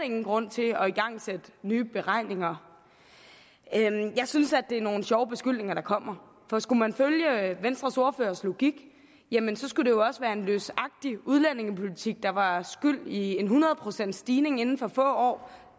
ingen grund til at igangsætte nye beregninger jeg synes det er nogle sjove beskyldninger der kommer for skulle man følge venstres ordførers logik jamen så skulle det jo også være en løsagtig udlændingepolitik der var skyld i en hundrede procents stigning inden for få år